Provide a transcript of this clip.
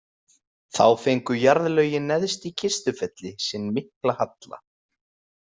Þá fengu jarðlögin neðst í Kistufelli sinn mikla halla.